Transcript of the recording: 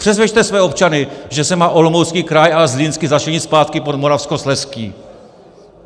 Přesvědčte své občany, že se má Olomoucký kraj a Zlínský začlenit zpátky pod Moravskoslezský.